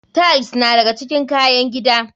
Tiles na daga cikin kayan gida.